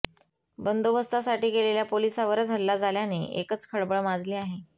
बंदोबस्तासाठी गेलेल्या पोलिसावरच हल्ला झाल्याने एकच खळबळ माजली आहे